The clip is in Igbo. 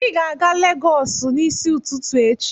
Ị ga-aga Legọs n'isi ụtụtụ echi!